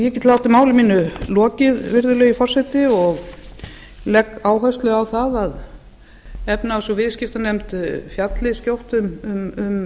látið máli mínu lokið virðulegi forseti og legg áherslu á það að efnahags og viðskiptanefnd fjalli skjótt um